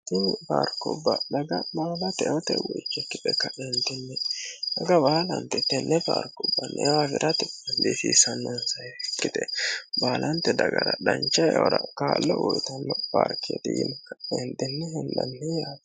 haini baarkubba dhaga maala teote woicikki e ka eendinni dhaga baalanti tenne aarkubbanneewaafiratti indiisiisannoonsa hefikkite baalanti dagara dhancha eyora kaallo uyitanno baarkieri yimh eendinne hillanni yaate